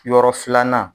Yɔrɔ filanan